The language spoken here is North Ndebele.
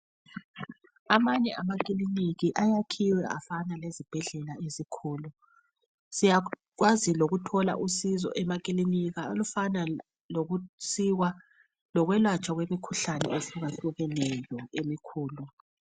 Amanye amakiliniki ayakhiwe afana lezibhedlela ezinkulu siyenelisa ukuthola uncedo emakiliniki olufana lokusikwa lokwelatshwa kwemikhuhlane ehluka hlukeneyo emikhulu.